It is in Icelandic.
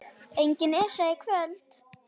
Engin Esja í kvöld.